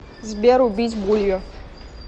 сбер убить булью